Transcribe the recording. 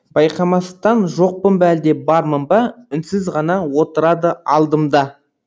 байқамастан жоқпын ба әлде бармын ба үнсіз ғана отырады алдымда